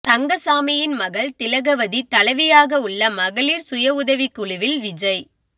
தங்கசாமியின் மகள் திலகவதி தலைவியாக உள்ள மகளிர் சுய உதவிக் குழுவில் விஜய்